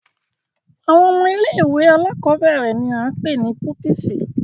Awọn ọmọ ìlé-ìwé àlàkọbẹrẹ ni a pe ni pupisi.